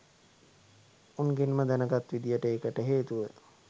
උන්ගෙන්ම දැනගත් විදිහට ඒකට හේතුව